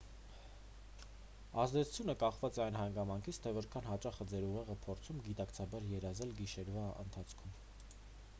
ազդեցությունը կախված է այն հանգամանքից թե որքան հաճախ է ձեր ուղեղը փորձում գիտակցաբար երազել գիշերվա ընթացքում